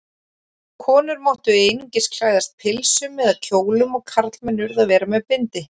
Konur máttu einungis klæðast pilsum eða kjólum og karlmenn urðu að vera með bindi.